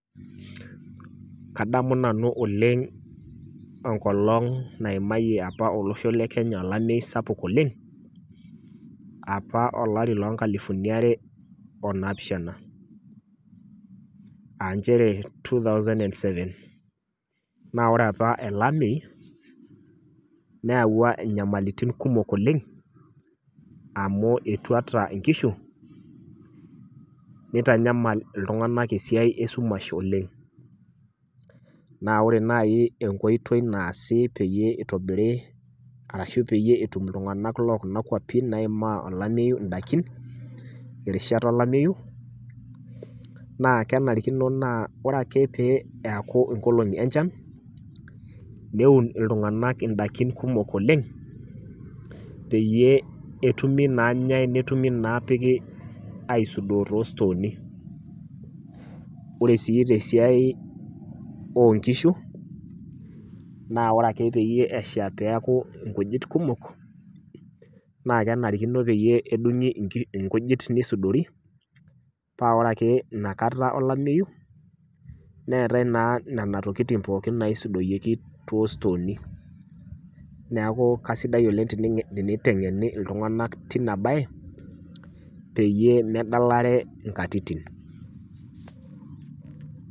Kadamu nanu oleng' enkolong' naimayie apa olosho le Kenya olameyu sapuk oleng', apa olari loonkalifuni are onaapishana aa nchere two thousand and seven. Naa ore apa ele ameyu neawua inyamalitin kumok oleng' amu etuata inkishu, neitanyamal iltung'anak esiai esumash oleng'. Naa ore nai enkoitoi naasi peyie eitobiri arashu peyie etum iltung'anak loo kuna kuapin naaimaa olameyu indaikin irishat olameyu naa kenarikino naa ore ake pee eaku inkolong'i enchan, neun iltung'anak indakin kumok oleng' peyie etumi naanyai netumi naapiki aisudoo toostooni. Ore sii tesiai oonkishu naa ore ake peyie esha neaku inkujit kumok naakenarikino peyie edung'i inkujit neisudori paa ore ake nakata olameyu neetai naa nena tokitin pooki naisudoyioki toostooni. Neaku kaisidai oleng' teniteng'eni iltung'anak tina baye peyie medalare inkatitin.